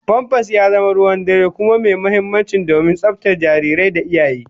Famfas ya zama ruwan dare kuma mai muhimmanci domin tsaftar jariri da iyaye